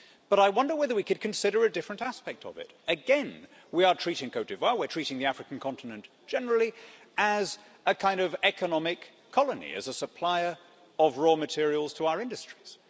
But I wonder whether we could consider a different aspect of it. Again, we are treating Côte d'Ivoire and the African continent generally as a kind of economic colony and a supplier of raw materials to our industries.